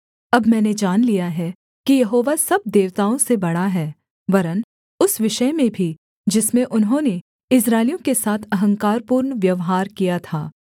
अब मैंने जान लिया है कि यहोवा सब देवताओं से बड़ा है वरन् उस विषय में भी जिसमें उन्होंने इस्राएलियों के साथ अहंकारपूर्ण व्यवहार किया था